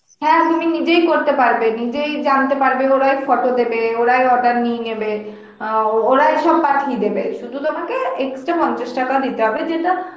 হ্যাঁ তুমি নিজেই করতে পারবে, নিজেই জানতে পারবে, ওরাই photo দেবে ওরাই order নিয়ে নেবে অ্যাঁ ওরাই সব পাঠিয়ে দেবে সুধু তোমাকে extra পঞ্চাশ টাকা দিতে হবে যেটা